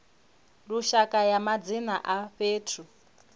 lushaka ya madzina a fhethu